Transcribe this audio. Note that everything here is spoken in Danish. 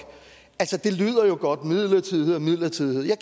det lyder jo godt midlertidighed er midlertidighed jeg